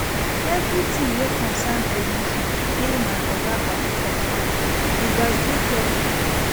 Everytin wey concern promotion dey my oga at di top hand, you gats dey careful.